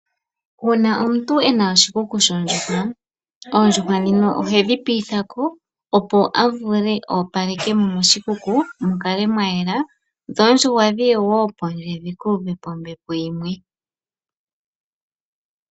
Uuna omuntu ena oshikuku shoondjuhwa, oondjuhwa dhino ohedhi piithako opo avule opalekemo moshikuku mukale mwayela, dho oondjuhwa dhiye woo pondje dhikuuvepo ombepo yimwe.